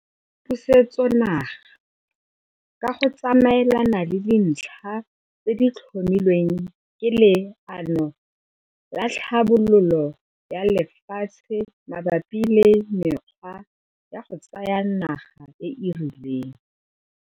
Pusetsonaga - ka go tsamaelana le dintlha tse di tlhomilweng ke Leano la Tlhabololo la Lefatshe mabapi le mekgwa ya go tsaya naga e e rileng.